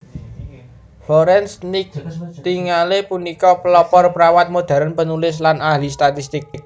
Florence Nightingale punika pelopor perawat modhèrn panulis lan ahli statistik